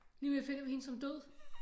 Lige om lidt finder vi hende som død